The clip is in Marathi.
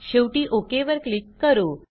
शेवटी ओक वर क्लिक करू